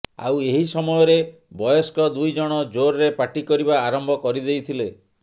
ଆଉ ଏହି ସମୟରେ ବୟସ୍କ ଦୁଇଜଣ ଜୋରରେ ପାଟି କରିବା ଆରମ୍ଭ କରିଦେଇଥିଲେ